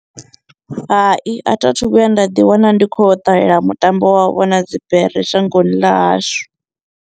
Hai, a thi a thu vhuya nda ḓi wana ndi khou ṱalela mutambo wa u vhona dzibere shangoni ḽa hashu.